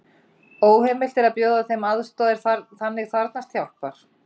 Óheimilt er að bjóða þeim aðstoð er þannig þarfnast hjálpar.